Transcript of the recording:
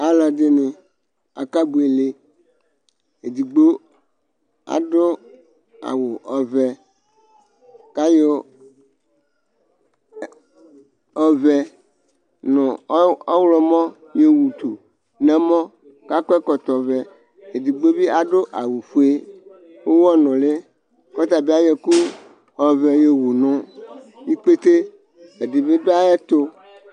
alʋɛdini akɛ buɛlɛ edigbo adu awʋ ɔvɛ kayɔ ɔvɛ nʋ ɔwʋlɔmɔ yowʋ tʋ nʋ ɛmɔ kʋ akɔ ɛkɔtɔ vɛ edigbo bi adu awʋ fuɛ ʋwɔ nʋli kɔtabi ayʋɛkʋ ɔvɛ yɔ wʋ nʋ ikpɛtɛ edibi du ayɛtu